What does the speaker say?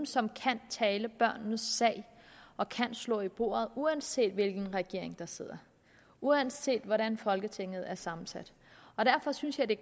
som kan tale børnenes sag og slå i bordet uanset hvilken regering der sidder og uanset hvordan folketinget er sammensat derfor synes jeg det